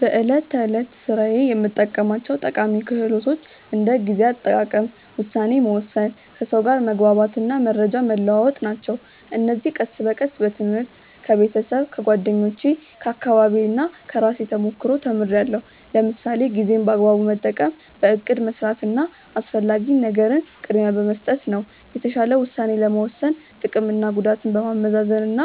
በዕለት ተዕለት ሥራዬ የምጠቀማቸው ጠቃሚ ክህሎቶች እንደ ጊዜ አጠቃቀም፣ ውሳኔ መወሰን፣ ከሰው ጋር መግባባት እና መረጃ መለዋወጥ ናቸው። እነዚህን ቀስ በቀስ በትምህርት፣ ከቤተሰብ፣ ከጓደኞቼ፣ ከአካባቢዬ እና ከራሴ ተሞክሮ ተምርያለሁ። ለምሳሌ ጊዜን በአግባቡ መጠቀም በእቅድ መስራት እና አስፈላጊ ነገርን ቅድሚያ በመስጠት ነው። የተሻለ ውሳኔ ለመወሰን ጥቅምና ጉዳትን በማመዛዘን እና